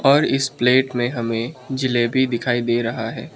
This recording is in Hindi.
और इस प्लेट में हमें जिलेबी दिखाई दे रहा है।